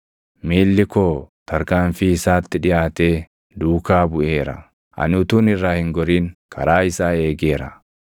Miilli koo tarkaanfii isaatti dhiʼaatee duukaa buʼeera; ani utuun irraa hin gorin karaa isaa eegeera.